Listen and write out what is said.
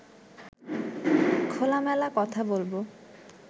খোলামেলা কথা বলব